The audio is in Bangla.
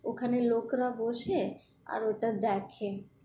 ওখানে লোকরা বসে, আর ওটা দেখে।